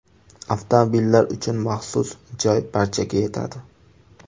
Avtomobillar uchun maxsus joy barchaga yetadi!